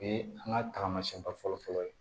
O ye an ka tagamasiyɛnba fɔlɔ fɔlɔ ye